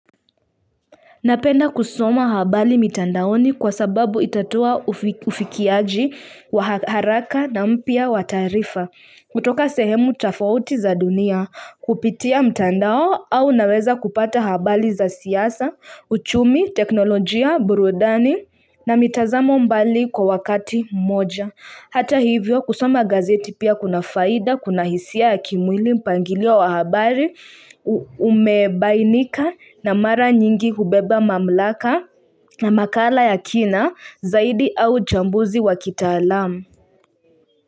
Napenda kusoma habari mitandaoni kwa sababu itatoa ufikiaji wa haraka na mpya wa taarifa. Kutoka sehemu tofauti za dunia kupitia mtandao au naweza kupata habari za siasa, uchumi, teknolojia, burudani na mitazamo mbali kwa wakati mmoja. Hata hivyo kusoma gazeti pia kuna faida kuna hisia ya kimwili, mpangilio wa wa habari umebainika na mara nyingi hubeba mamlaka na makala ya kina zaidi au uchambuzi wa kitaalamu.